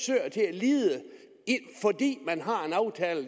lide fordi man har en aftale